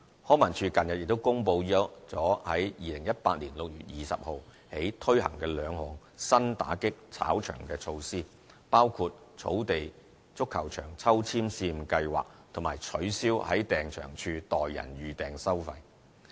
康文署近日亦公布在2018年6月20日起推行兩項新打擊"炒場"措施，包括"草地足球場抽籤"試驗計劃及取消在訂場處代人預訂收費。